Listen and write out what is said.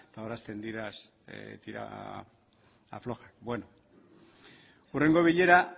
eta hor hasten dira tira aflojak hurrengo bilera